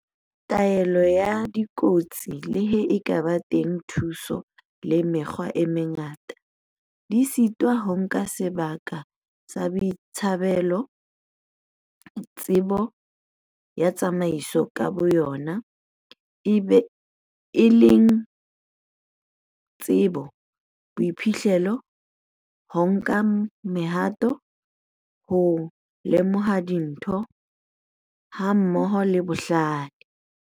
Taolo ya dikotsi le ha ho ka ba teng dithuso le mekgwa e mengata, di sitwa ho nka sebaka sa boitsebelo-tsebo ya tsamaiso ka boyona, e leng tsebo, boiphihlelo, ho nka mehato, ho lemoha dintho, hammoho le bohlale.